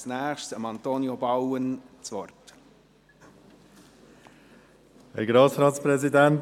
Als Nächstes gebe ich Antonio Bauen das Wort.